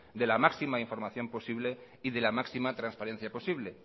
de la máxima información posible y de la máxima transparencia posible